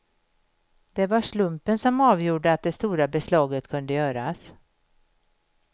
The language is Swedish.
Det var slumpen som avgjorde att det stora beslaget kunde göras.